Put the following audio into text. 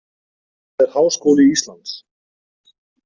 Það er Háskóli Íslands.